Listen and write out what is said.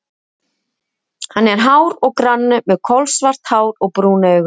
Hann er hár og grannur, með kolsvart hár og brún augu.